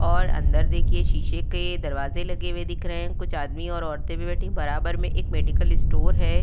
और अंदर देखिए शीशे के दरवाजे लगे हुए दिख रहे हैं। कुछ आदमी और औरतें भी बैठी हैं। बराबर में एक मेडिकल स्टोर है।